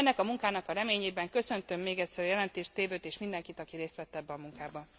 Ennek a munkának a reményében köszöntöm még egyszer a jelentéstevőt és mindenkit, aki részt vett ebben a munkában.